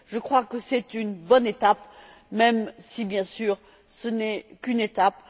Je crois que c'est une bonne étape même si, bien sûr, ce n'est qu'une étape.